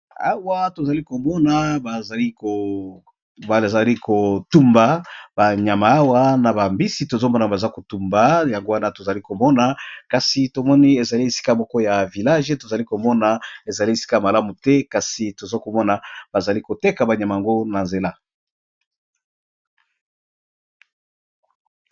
Awa tozalikomona batu bazali kotumba nyama awa naba mbisi tozomona bazakotumba yango wana tozokomona kasi eza esika ya village tozalikoma eza esika yamalamu te kasi tozalikomona bazalikoteka ba nyama nabango nanzela